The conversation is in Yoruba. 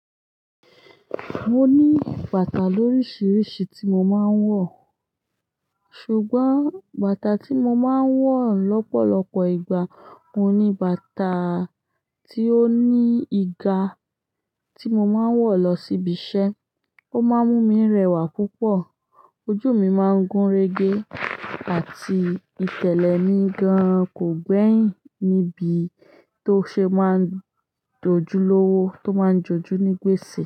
Mo ní bàtà lórísìírísìí tí mo máa ń wọ̀. Ṣùgbọ́n bàtà tí mo máa ń wọ̀ lọ́pọ̀lọpọ̀ ìgbà, oun ní bàtà tí ó ní ìgà, tí mo máa ń wọ̀ lọ sí ibi iṣẹ́. Ó máa ń mú mi rẹwà púpọ̀, ojú mi máa ń gúnrégé àti ìtẹ́lẹ̀ mi gan kò gbẹ́yìn níbi tó ṣe máa ń dojú lọ́wọ́ tó máa ń joju ní gbèsè.